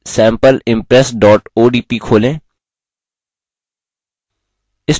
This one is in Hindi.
प्रस्तुति sampleimpress odp खोलें